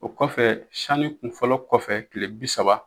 O kɔfɛ sani kun fɔlɔ kɔfɛ kile bisaba